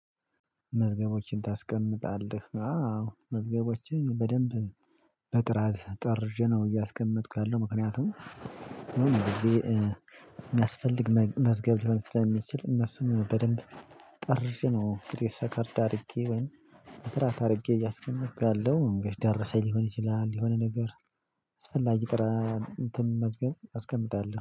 መዝገቦችን ታስቀምጣለህ? አዎ መዝገቦችን በደንብ በጥራዝጠርዥ ነው እያስቀመጥኩ ያለው ምክንያቱም እኔ በዚህ የሚያስፈልግ መ መዝገብ ሊሆን ስለሚችል እነሱን በደንብ ጠርዤ ነው እንግዲህ ሰከርድ አርጌ ወይም በስርዓት አርጌ እያስቀመጥኩ ያለው እንግዲህ ደርሰኝ ሊሆን ይችላል የሆነ ነገር አስፈላጊ ጥራ እንትን መስገብ አስቀምጣለሁ።